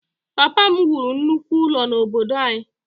Papa m wuru nnukwu ụlọ n’obodo anyị.